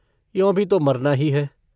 यों भी तो मरना ही है।